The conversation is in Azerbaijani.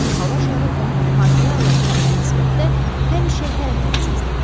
Çünki hava şarı onu əhatəyə alan havaya nisbətdə həmişə hərəkətsizdir.